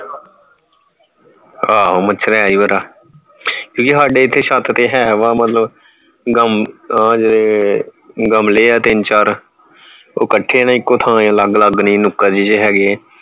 ਆਹੋ ਮੱਛਰ ਦਾ ਕਿਉਂਕਿ ਸਾਡੇ ਇਥੇ ਛਤ ਤੇ ਹੈ ਵਾਵਾ ਮਤਲਬ ਗਮ ਅਹ ਗਮਲੇ ਹੈ ਤਿੰਨ ਚਾਰ ਉਹ ਕੱਠੇ ਹੈ ਨਾ ਇਕੋ ਥਾਂ ਅਲੱਗ ਅਲੱਗ ਨਹੀਂ ਨੁਕੜ ਜੇ ਚ ਹਗੇ ਹੈ